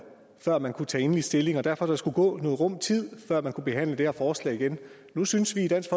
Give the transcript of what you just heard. før man kunne tage endelig stilling og at der derfor skulle gå en rum tid før man kunne behandle det her forslag igen nu synes vi i dansk